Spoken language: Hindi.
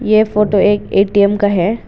ये फोटो एक ए_टी_एम का है।